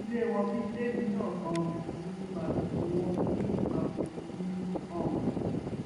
ilé wọn bíi ilé mi náà um ni màfìlì wọn bíi màfọlì mi ni um